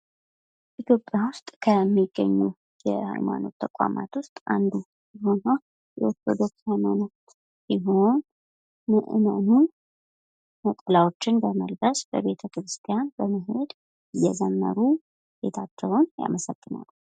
የኢትዮጵያ ውስጥ ከሚገኙ የሀይማኖት ተቋማት ውስጥ አንዱ የሆነው የኦርቶዶክስ ሀይማኖት ሲሆን ምእመናን ነጠላቸውን በመልበስ በቤተ ክርስቲያን በመሄድ እየዘመሩ ጌታቸውን ያመሰግናሉ